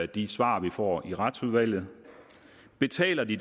de svar vi får i retsudvalget betaler de